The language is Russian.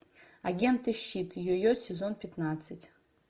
агенты щит йо йо сезон пятнадцать